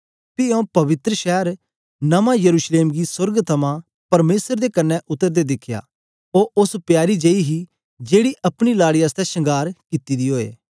पी आऊँ पवित्र शैर नमां यरूशलेम गी सोर्ग थमां परमेसर दे कन्ने उतरदे दिखया ओ उस्स प्यारी जेई हे जेकी अपने लाड़ी आसतै शंगार कित्ती दी ओए